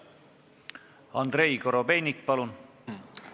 Andrei Korobeinik, palun!